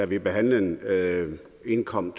vi behandlede den indkom